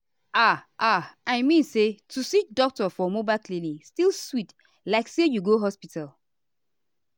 ah ah i mean say to see doctor for mobile clinic still sweet like say you go hospital.